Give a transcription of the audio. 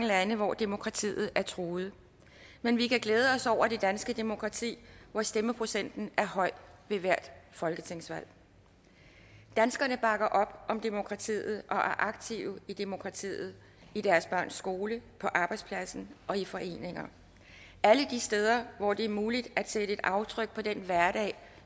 lande hvor demokratiet er truet men vi kan glæde os over det danske demokrati hvor stemmeprocenten er høj ved hvert folketingsvalg danskerne bakker op om demokratiet og er aktive i demokratiet i deres børns skole på arbejdspladsen og i foreninger alle de steder hvor det er muligt at sætte et aftryk på den hverdag